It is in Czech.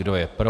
Kdo je pro?